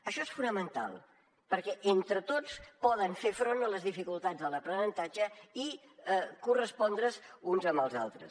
això és fonamental perquè entre tots poden fer front a les dificultats de l’aprenentatge i correspondre’s uns amb els altres